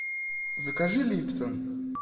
закажи липтон